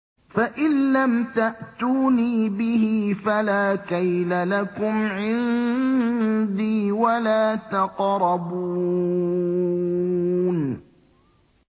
فَإِن لَّمْ تَأْتُونِي بِهِ فَلَا كَيْلَ لَكُمْ عِندِي وَلَا تَقْرَبُونِ